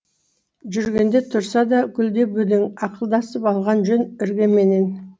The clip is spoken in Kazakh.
жүргеде тұрса да гүлдеп өлең ақылдасып алған жөн іргеменен